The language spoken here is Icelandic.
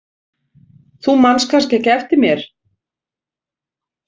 Þú manst kannski ekki eftir mér?